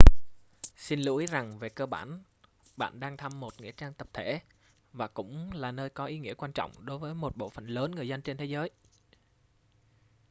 xin lưu ý rằng về cơ bản bạn đang thăm một nghĩa trang tập thể và cũng là nơi có ý nghĩa quan trọng với một bộ phận lớn người dân trên thế giới